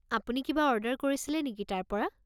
আপুনি কিবা অৰ্ডাৰ কৰিছিলে নেকি তাৰ পৰা?